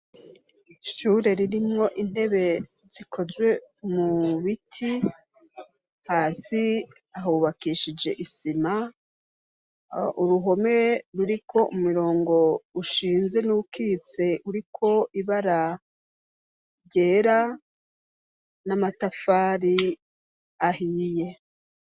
Ishure ririmwo intebe zikozwe mu biti hasi ahubakishije isima uruhome ruri ko umirongo ushinze n'ukitse uri ko ibara ryera n'amatafari ahiye.